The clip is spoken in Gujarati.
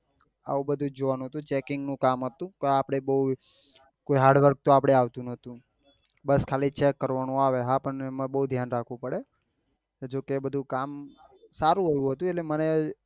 આવું બધું જ જોવા નું હતું checking નું કામ હતું આપડે બઉ કોઈ hard work તો આપડે આવતું નતું બસ ખાલી check કરવા નું આવે હા પણ એમાં બઉ ધ્યાન રાખવું પડે જો કે બધું કામ સારું એવું હતું એટલે મને